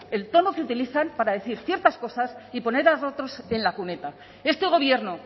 el tono que utilizan para decir ciertas cosas y poner a otros en la cuneta este gobierno